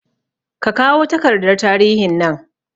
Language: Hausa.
Kakawo takardar tarihin nan